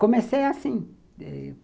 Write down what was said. Comecei assim.